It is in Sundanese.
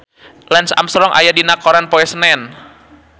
Lance Armstrong aya dina koran poe Senen